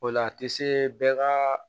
O la a tɛ se bɛɛ ka